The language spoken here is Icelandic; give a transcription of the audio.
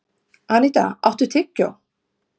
Anita, áttu tyggjó?